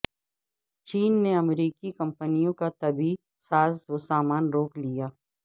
چین نے امریکی کمپنیوں کا طبی ساز و سامان روک لیا